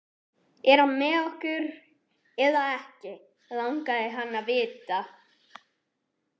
Er hann með okkur eða ekki? langaði hann að vita.